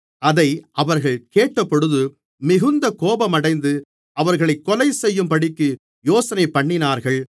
அதை அவர்கள் கேட்டபொழுது மிகுந்த கோபமடைந்து அவர்களைக் கொலைசெய்யும்படிக்கு யோசனைபண்ணினார்கள்